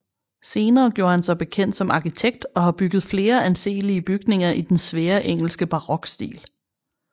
Senere gjorde han sig bekendt som Arkitekt og har bygget flere anselige bygninger i den svære engelske Barokstil